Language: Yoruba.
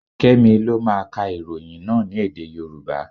Kẹ́mi lọ máa ka ìròyìn náà ní èdè Yorùbá.